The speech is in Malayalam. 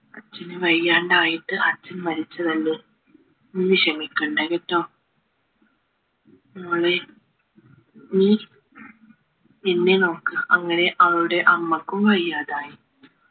അച്ഛന് വയ്യാണ്ടായിട്ട് അച്ഛൻ മരിച്ചതല്ലേ നീ വിഷമിക്കണ്ട കേട്ടോ മോളെ നീ എന്നെ നോക്കണം അങ്ങനെ അവളുടെ അമ്മക്കും വയ്യാതായി